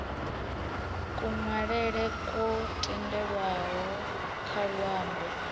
kunwalele kwo tendelwaho kha luambo